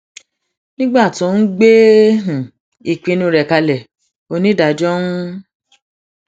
nígbà tó ń gbé um ìpinnu rẹ kalẹ onídàájọ ń